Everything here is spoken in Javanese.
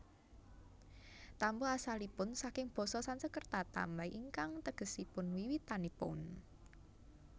Tambo asalipun saking basa Sansekerta tambay ingkang tegesipun wiwitanipun